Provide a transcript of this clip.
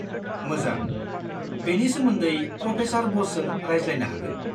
मोजां, बेनि सोमोन्दै प्र'फेसर ब'सजों रायज्लायनो हागोन।